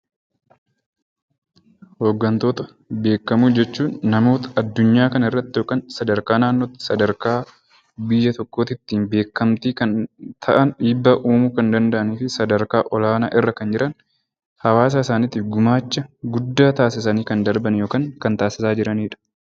Hoggantoota beekamoo jechuun namoota addunyaa kanarratti yookaan sadarkaa naannootti, sadarkaa biyya tokkootitti beekamtii kan ta'an, dhiibbaa uumuu kan danda’anii fi sadarkaa olaanaa irra kan jiran jawwaasa isaaniitiif gumaacha guddaa taasisanii kan darban yookaan gimaacha tssaisaa kan jiranidha.